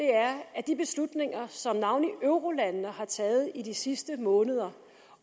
at de beslutninger som navnlig eurolandene har taget i de sidste måneder